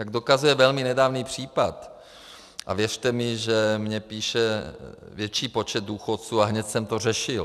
Jak dokazuje velmi nedávný případ - a věřte mi, že mně píše větší počet důchodců, a hned jsem to řešil.